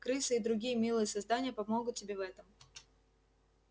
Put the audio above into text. крысы и другие милые создания помогут тебе в этом